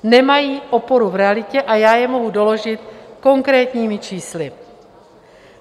Nemají oporu v realitě a já je mohu doložit konkrétními čísly.